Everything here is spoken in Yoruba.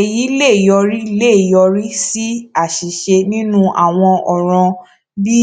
èyí lè yọrí lè yọrí sí àṣìṣe nínú àwọn òràn bí